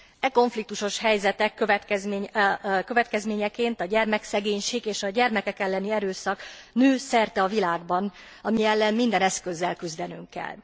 E konfliktusos helyzetek következményeként a gyermekszegénység és a gyermekek elleni erőszak nő szerte a világban, ami ellen minden eszközzel küzdenünk kell.